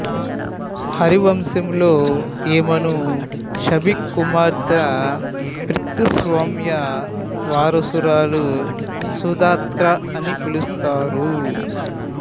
హరివంశంలో ఈమెను షిబి కుమార్తె పితృస్వామ్య వారసురాలు సుదత్తా అని పిలుస్తారు